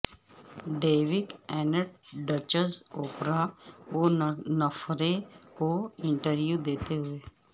duke and duchess Oprah Winfrey کو interview دیتے ہوئے